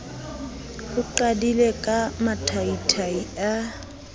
o qadile ka mathaithai a